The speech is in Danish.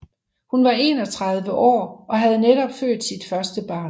Hun var 31 år og havde netop født sit første barn